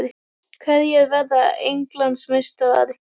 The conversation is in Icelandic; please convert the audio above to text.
Hverjir verða Englandsmeistarar?